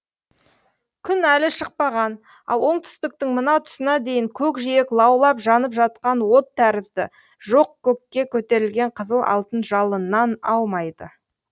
күн әлі шықпаған ал оңтүстіктің мына тұсына дейін көкжиек лаулап жанып жатқан от тәрізді жоқ көкке көтерілген қызыл алтын жалыннан аумайды